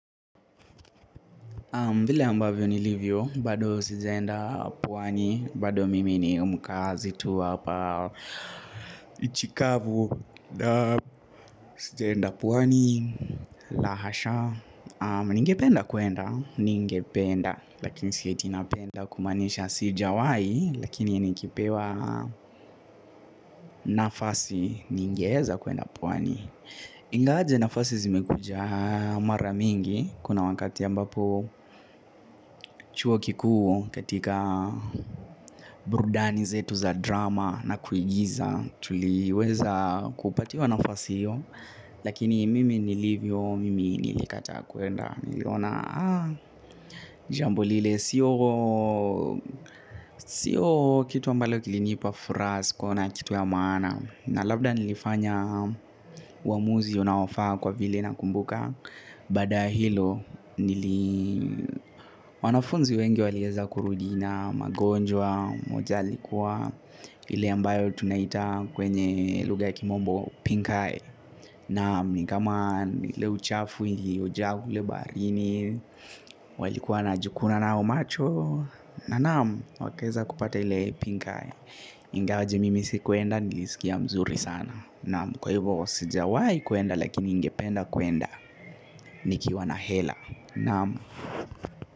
Vile ambavyo ni livyo, bado sijaenda pwani, bado mimi ni mkazi tu wa hapa nchi kavu, sijaenda pwani, la hasha ningependa kuenda, ningependa, lakini sieti napenda kumanisha sijawahi, lakini nikipewa nafasi ningeweza kuenda pwani ingawaje nafasi zimekuja mara mingi kuna wakati ambapo chuo kikuu katika burudani zetu za drama na kuigiza tuliweza kupatiwa nafasi hiyo lakini mimi nilivyo mimi nilikata kuenda nilona jambo lile sio kitu ambalo kilinipa furaha sikuna kitu ya maana na labda nilifanya uamuzi unaofaa kwa vile na kumbuka baada ya hilo, wanafunzi wengi waliweza kurudi na, magonjwa, mmoja alikuwa ile ambayo tunaita kwenye lugha ya kimombo, pinkeye. Naam ni kama, ile uchafu, ilioja kule barini, walikuwa wanajikuna nayo macho na naam wakaweza kupata ile pinkeye ingawa mimi sikuenda nilisikia vizuri sana naam sijawahi kuenda lakini ningependa kuenda nikiwa na hela naam.